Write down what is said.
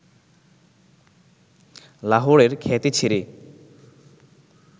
লাহোরের খ্যাতি ছেড়ে